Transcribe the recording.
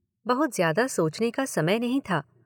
बहुत ज़्यादा सोचने का समय नहीं था।